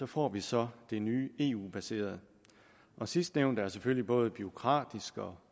får vi så det nye eu baserede sidstnævnte er selvfølgelig både bureaukratisk og